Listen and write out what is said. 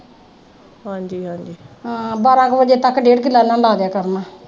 ਹਾਂ ਬਾਰ੍ਹਾਂ ਕੁ ਵਜੇ ਤੱਕ ਡੇਢ ਕਿੱਲਾ ਇਨ੍ਹਾਂ ਨੇ ਲਾਦਿਆ ਕਰਨਾ।